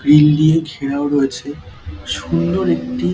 grill দিয়ে ঘেরাও রয়েছে সুন্দর একটি--